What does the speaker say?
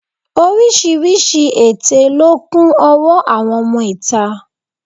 Oríṣiríṣi èté ló kún ọwọ́ àwọn ọmọ ìta